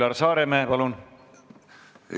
Üllar Saaremäe, palun!